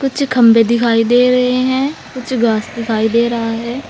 कुछ खंभे दिखाई दे रहे हैं कुछ घास दिखाई दे रहा है।